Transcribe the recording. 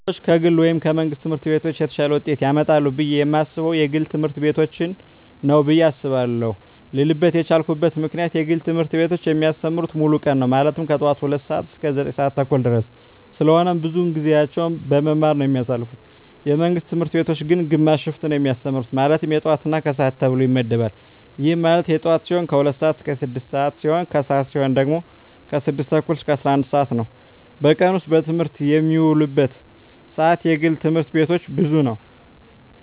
ልጆች ከግል ወይም ከመንግሥት ትምህርት ቤቶች የተሻለ ውጤት ያመጣሉ ብየ የማስበው የግል ትምህርት ቤቶችን ነው ብየ አስባለው ልልበት የቻልኩት ምክንያት የግል ትምህርት ቤቶች የሚያስተምሩት ሙሉ ቀን ነው ማለትም ከጠዋቱ 2:00 ሰዓት እስከ 9:30 ድረስ ስለሆነ ብዙውን ጊዜያቸውን በመማማር ነው የሚያሳልፉት የመንግስት ትምህርት ቤቶች ግን ግማሽ ሽፍት ነው የሚያስተምሩ ማለትም የጠዋት እና የከሰዓት ተብሎ ይመደባል ይህም ማለት የጠዋት ሲሆኑ 2:00 ስዓት እስከ 6:00 ሲሆን የከሰዓት ሲሆኑ ደግሞ 6:30 እስከ 11:00 ነው በቀን ውስጥ በትምህርት የሚውሉበት ሰዓት የግል ትምህርት ቤቶች ብዙ ነው።